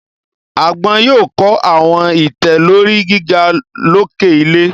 Agbọn yoo kọ awọn itẹ lori giga loke ilẹ